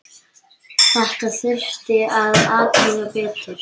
Þetta þurfti að athuga betur.